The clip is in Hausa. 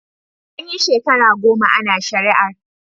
An yi shekara goma ana shari'ar.